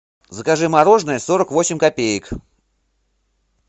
закажи мороженое сорок восемь копеек